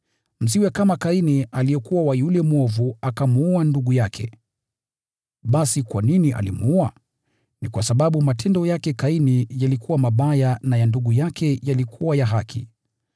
Msiwe kama Kaini aliyekuwa wa yule mwovu akamuua ndugu yake. Basi kwa nini alimuua? Ni kwa sababu matendo yake Kaini yalikuwa mabaya na ya ndugu yake yalikuwa ya haki.